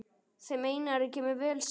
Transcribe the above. Þeim Einari kemur vel saman.